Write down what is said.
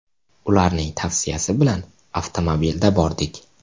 Ularning tavsiyasi bilan avtomobilda bordik.